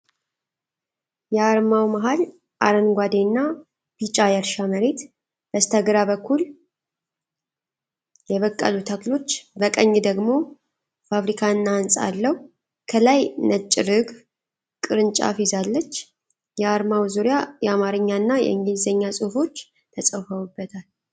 የዓርማው መሀል አረንጓዴና ቢጫ የእርሻ መሬት፣ በስተግራ በኩል የበቀሉ ተክሎች፣ በቀኝ ደግሞ ፋብሪካ እና ህንጻ አለው። ከላይ ነጭ ርግብ ቅርንጫፍ ይዛለች። የዓርማው ዙሪያ የዓማርኛና የእንግሊዝኛ ጽሁፎች ተጽፈውበታል።